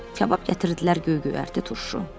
Kabab gətirdilər, göy-göyərti, turşu.